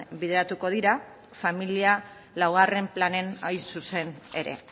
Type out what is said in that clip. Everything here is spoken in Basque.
bideratuko dira familia laugarren planean zuzen ere